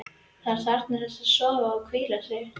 Hann þarfnast þess að sofa og hvíla sig.